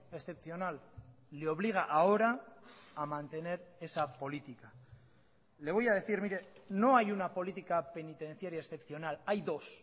excepcional le obliga ahora a mantener esa política le voy a decir mire no hay una política penitenciaria excepcional hay dos